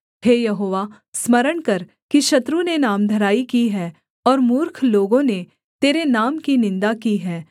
हे यहोवा स्मरण कर कि शत्रु ने नामधराई की है और मूर्ख लोगों ने तेरे नाम की निन्दा की है